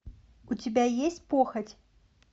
у тебя есть похоть